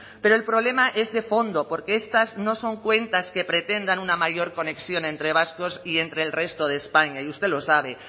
pero el problema es de fondo porque estas no son cuentas que pretendan una mayor conexión entre vascos y entre el resto de españa y usted lo sabe